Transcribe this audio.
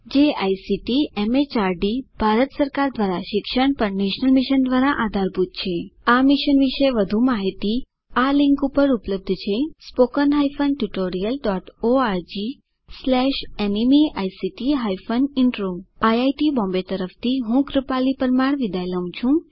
જે ICT MHRD Bharat સરકાર દ્વારા શિક્ષણ પર નેશનલ મિશન દ્વારા આધારભૂત છે આ મિશન વિશે વધુ માહીતી આ લીંક ઉપર ઉપલબ્ધ છે httpspoken tutorialorgNMEICT Intro IIT Bombay તરફથી ભાષાંતર કરનાર હું કૃપાલી પરમાર વિદાય લઉં છું